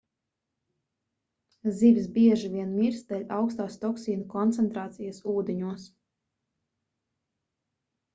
zivis bieži vien mirst dēļ augstās toksīnu koncentrācijas ūdeņos